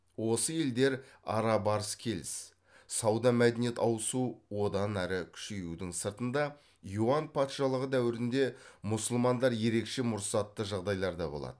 осы елдер ара барыс келіс сауда мәдениет ауысу одан ары күшеюдің сыртында юан патшалығы дәуірінде мұсылмандар ерекше мұрсатты жағдайларда болады